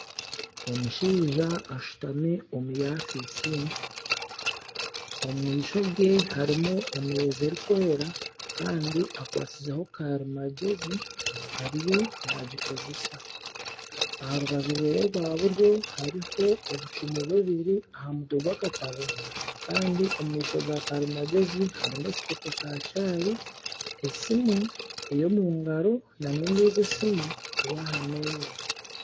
Omushaija ashutami omu ofiisi ye omumaisho ge harimu emeeza erikweera Kandi akwasizeho karimagyezi ariyo nagikozesa aharubaju rwehe rwa buryo hariho obucumu bubiri ahamutwe g'wakatabo Kandi omu maisho ga karimagyezi harimu ekikopo kya chai esimu eyomungaro nana endiijo esimu eri ahameeza.